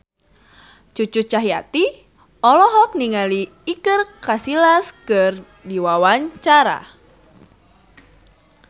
Cucu Cahyati olohok ningali Iker Casillas keur diwawancara